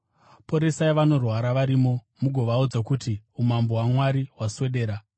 Poresai vanorwara varimo mugovaudza kuti, ‘Umambo hwaMwari hwaswedera.’